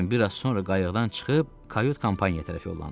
Lakin biraz sonra qayıqdan çıxıb, kayut kompaniyaya tərəf yollandı.